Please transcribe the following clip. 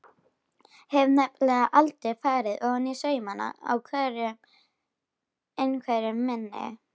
Hef nefnilega aldrei farið ofaní saumana á einveru minni.